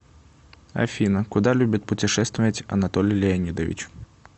афина куда любит путешествовать анатолий леонидович